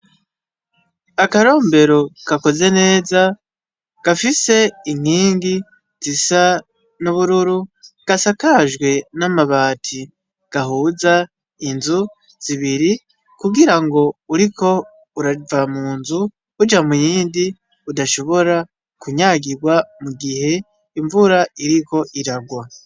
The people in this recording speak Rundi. Akarombero gakoze neza gafise inkingi zisa n'ubururu gasakajwe n'amabati gahuza inzu zibiri kugirango uriko urava munzu uja muyindi udashobora kunyagirwa mugihe imvura iriko iragwa.